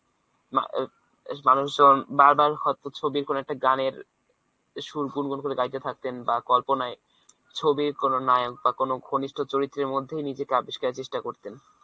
মা~ মানুষজন বারবার হয়তো ছবির কোন একটা গানের সুর গুনগুন করে গাইতে থাকতেন বা কল্পনায় ছবির কোন নায়ক বা কোন ঘনিষ্ট চরিত্রের মধ্যেই নিজেকে আবিস্কারের চেষ্টা করতেন।